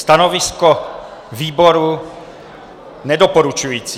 Stanovisko výboru nedoporučující.